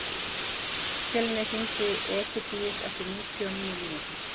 Fjölnir, hringdu í Egidíus eftir níutíu og níu mínútur.